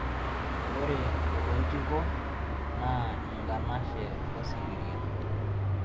ore oloitiko naa enkanashe osikiria